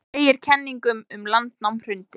Segir kenningum um landnám hrundið